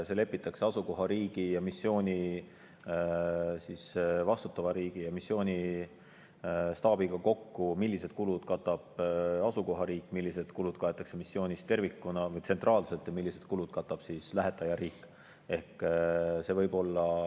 See lepitakse asukohariigi, missiooni vastutava riigi ja missiooni staabiga kokku, millised kulud katab asukohariik, millised kulud kaetakse missioonist tervikuna või tsentraalselt ja millised kulud katab lähetajariik.